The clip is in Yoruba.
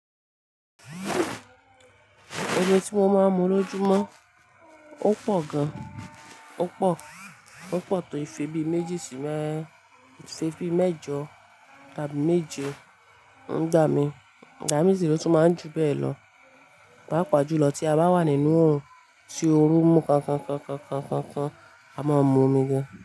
Omi tí mo máa ń mu lóju mọ́ ó pọ̀ gan-an, ó pọ̀, ó pọ̀ tó ìfẹ́ bí méjì sí mẹ- ìfẹ́ bí mẹ́jọ tàbí méje. Nigba mí, Ǹigbà mí sì re o tún máa ń ju bẹ́ẹ̀ lọ. Páápàá jùlọ tí a bá wà nínú òrùn, tí oru ń mú kọn kọn kọn kọn kọn kọn kọn, a máa ń mu omi gan-an.